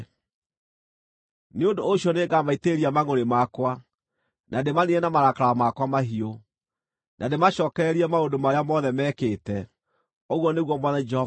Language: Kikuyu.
Nĩ ũndũ ũcio nĩngamaitĩrĩria mangʼũrĩ makwa, na ndĩmaniine na marakara makwa mahiũ, na ndĩmacookererie maũndũ marĩa mothe mekĩte, ũguo nĩguo Mwathani Jehova ekuuga.”